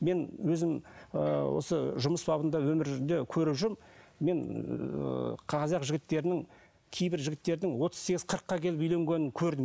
мен өзім ыыы осы жұмыс бабында өмірде көріп жүрмін мен ыыы қазақ жігіттерінің кейбір жігіттердің отыз сегіз қырыққа келіп үйленгенін көрдім